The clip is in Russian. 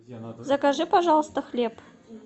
закажи пожалуйста хлеб